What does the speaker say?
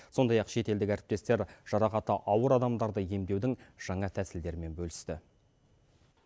сондай ақ шетелдік әріптестер жарақаты ауыр адамдарды емдеудің жаңа тәсілдерімен бөлісті